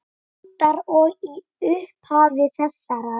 aldar og í upphafi þessarar.